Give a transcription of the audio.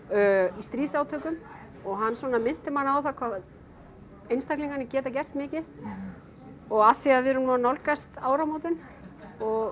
í stríðsátökum og hann svona minnti mann á það hvað einstaklingarnir geta gert mikið og af því að við erum nú að nálgast áramótin og